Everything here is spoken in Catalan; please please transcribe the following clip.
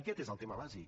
aquest és el tema bàsic